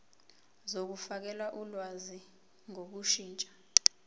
zokufakela ulwazi ngokushintsha